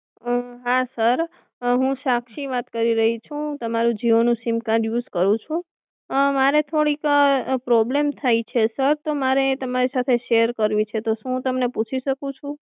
હા સર હું અમ સાક્ષી વાત કરી રહ્યી છું, હું તમારું જીઓ નું સિમ કાર્ડ યુઝ કરું છું અમ મારે થોડીક અમ પ્રોબ્લેમ થઇ છે સર તો મારે તમારી શેર કરવી છે તો શું હું તમને પૂછી શકું છુ?